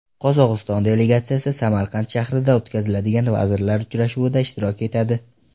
Qozog‘iston delegatsiyasi Samarqand shahrida o‘tkaziladigan vazirlar uchrashuvida ishtirok etadi.